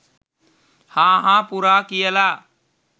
හා හා පුරා කියල